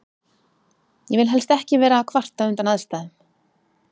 Ég vil helst ekki vera að kvarta undan aðstæðum.